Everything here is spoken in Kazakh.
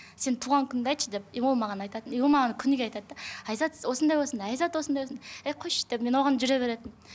сен туған күніңді айтшы деп и ол маған айтатын и ол маған күніге айтады да айзат осындай осындай айзат осындай осындай ей қойшы деп мен оған жүре беретінмін